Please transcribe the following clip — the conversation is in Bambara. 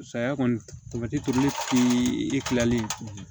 Saya kɔni tamati turuni ti e kilali